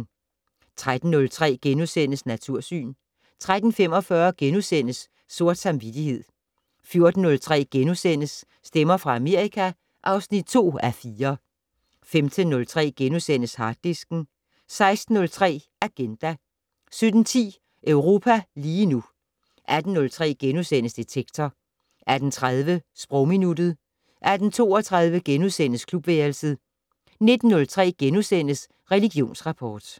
13:03: Natursyn * 13:45: Sort samvittighed * 14:03: Stemmer fra Amerika (2:4)* 15:03: Harddisken * 16:03: Agenda 17:10: Europa lige nu 18:03: Detektor * 18:30: Sprogminuttet 18:32: Klubværelset * 19:03: Religionsrapport *